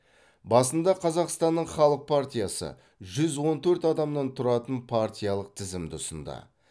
басында қазақстанның халық партиясы жүз он төрт адамнан тұратын партиялық тізімді ұсынды